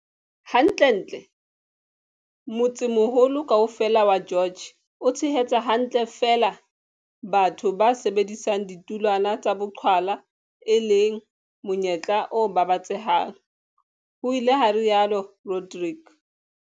Hantlentle, motsemoholo kaofela wa George o tshehetsa hantle feela batho ba sebedisang ditulwana tsa boqhwala, e leng monyetla o babatsehang, ho ile ha rialo Rodrique.